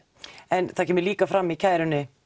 en það kemur líka fram í kærunni